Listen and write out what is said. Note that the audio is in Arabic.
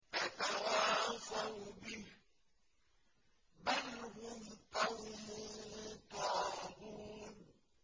أَتَوَاصَوْا بِهِ ۚ بَلْ هُمْ قَوْمٌ طَاغُونَ